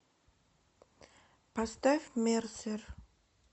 поставь мерсер